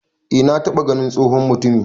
E na taba ganin tsohon mutumi